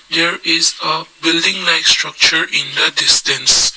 there is the building like structure in the distance.